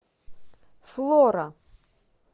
флора